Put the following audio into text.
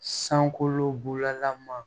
Sankolo bulama